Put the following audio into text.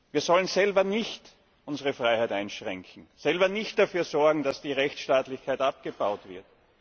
Wir sollen selber nicht unsere Freiheit einschränken, selber nicht dafür sorgen, dass die Rechtsstaatlichkeit abgebaut wird.